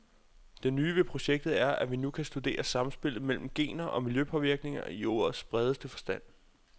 Det nye ved projektet er, at vi nu kan studere samspillet mellem gener og miljøpåvirkninger i ordets bredeste forstand.